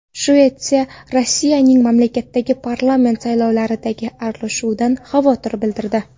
Shvetsiya Rossiyaning mamlakatdagi parlament saylovlariga aralashuvidan xavotir bildirdi .